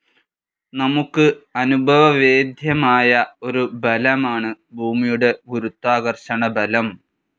നമുക്ക് അനുഭവവേദ്യമായ ഒരു ബലമാണ് ഭൂമിയുടെ ഗുരുത്വാകർഷണബലം.